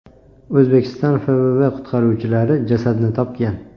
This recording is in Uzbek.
O‘zbekiston FVV qutqaruvchilari jasadni topgan.